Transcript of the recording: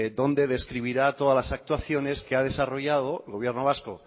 donde describirá todas las actuaciones que ha desarrollado gobierno vasco